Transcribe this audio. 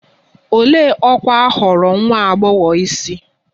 Olee ọkwa a họọrọ nwa agbọghọ isi?